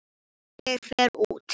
Ég fer út.